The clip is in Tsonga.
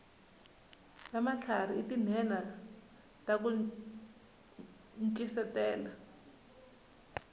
vamatlharhi i tinhenha taku ncisetela